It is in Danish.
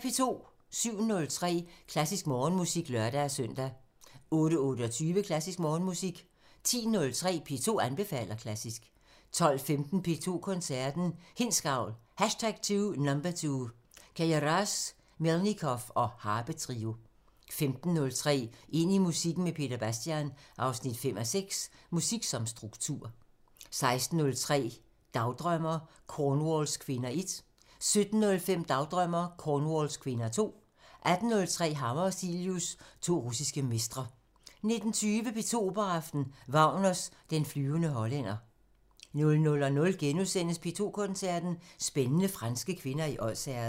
07:03: Klassisk Morgenmusik (lør-søn) 08:28: Klassisk Morgenmusik 10:03: P2 anbefaler klassisk 12:15: P2 Koncerten – Hindsgavl #2 – Queyras/Melnikov og harpetrio 15:03: Ind i musikken med Peter Bastian 5:6 – Musik som struktur 16:03: Dagdrømmer: Cornwalls kvinder 1 17:05: Dagdrømmer: Cornwalls kvinder 2 18:03: Hammer og Cilius – To Russiske mestre 19:20: P2 Operaaften – Wagner: Den flyvende hollænder 00:05: P2 Koncerten – Spændende franske kvinder i Odsherred *